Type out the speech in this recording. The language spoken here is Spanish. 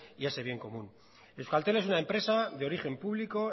y ese bien común euskaltel es una empresa de origen público